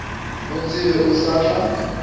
mo tsebe o sa tla